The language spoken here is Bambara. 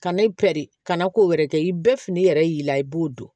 Ka ne pɛrɛn kana ko wɛrɛ kɛ i bɛɛ fini yɛrɛ y'i la i b'o don